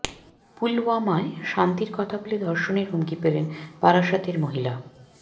পুলওয়ামায় শান্তির কথা বলে ধর্ষণের হুমকি পেলেন বারাসতের মহিলা